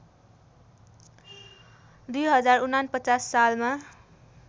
२०४९ सालमा